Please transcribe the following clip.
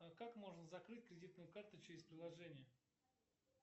как можно закрыть кредитную карту через приложение